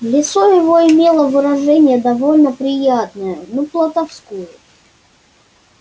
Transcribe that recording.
лицо его имело выражение довольно приятное но плутовское